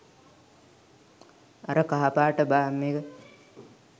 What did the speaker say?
අර කහ පාට බාම් එක